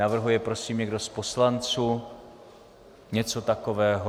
Navrhuje prosím někdo z poslanců něco takového?